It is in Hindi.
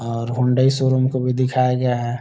और हुंडई शोरूम को भी दिखाया गया हैं।